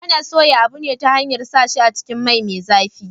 Ana soya abu ne ta hanyar sa shi a cikin mai me zafi